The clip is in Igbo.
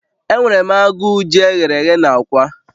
Enwere m agụụ ji eghere eghe na akwa